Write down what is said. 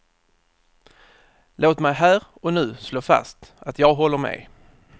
Låt mig här och nu slå fast att jag håller med.